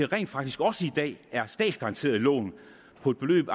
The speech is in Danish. rent faktisk også i dag er statsgaranterede lån på et beløb